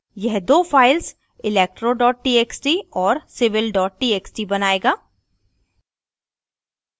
यह दो files electro txt और civil txt बनाएगा